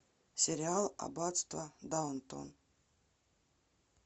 сериал аббатство даунтон